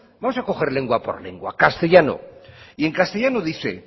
vamos a coger lengua por lengua castellano y en castellano dice